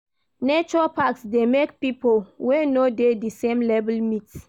Nature parks dey make pipo wey no dey di same level meet